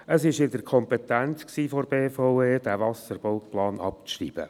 Es lag in der Kompetenz der BVE, den Wasserbauplan abzuschreiben.